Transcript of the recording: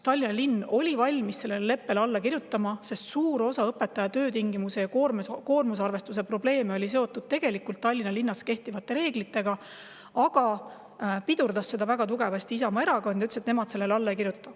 Tallinna linn oli valmis sellele leppele alla kirjutama, sest suur osa õpetajate töötingimusi ja koormusarvestust puudutavaid probleeme oli seotud Tallinna linnas kehtivate reeglitega, aga Isamaa Erakond pidurdas seda ja ütles, et nemad sellele alla ei kirjuta.